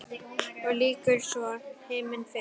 Og lýkur svo: Himinn yfir.